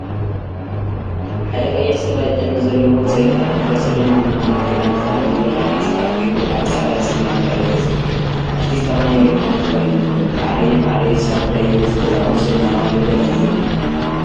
ሓደ ቀይሕ ሰብአይ ጭሕሚ ዘለዎን ፀሊም ከናቲራ፣ ስረን፣ ቡናማን ክዳን ተከዲኑ ብራማ ሰዓት ገይሩ አብ ፃዕዳን ሰማያዊን ድሕረ ገፅ ይርከብ፡፡ አርቲስት አማኒኤል የማነ ተባሂሉ ይፍለጥ፡፡ ማዓረየ ማዓረየ፤ ሳዱላየ ወዘተ ዝአመሰሉ ናይ አማኒኤል ደርፊ እዮም፡፡